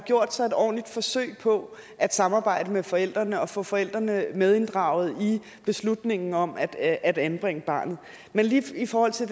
gjort sig et ordentligt forsøg på at samarbejde med forældrene og få forældrene medinddraget i beslutningen om at at anbringe barnet men lige i forhold til